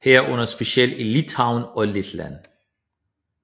Herunder specielt i Litauen og Letland